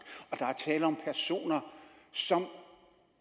og der er tale om personer som